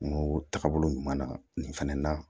Kungo taagabolo ɲuman na nin fana na